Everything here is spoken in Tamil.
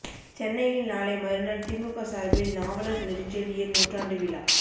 சென்னையில் நாளை மறுநாள் திமுக சார்பில் நாவலர் நெடுஞ்செழியன் நூற்றாண்டு விழா